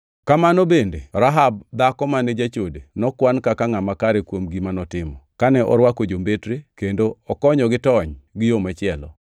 Kamano bende Rahab dhako mane jachode nokwan kaka ngʼama kare kuom gima notimo kane orwako jombetre kendo okonyogi tony gi yo machielo.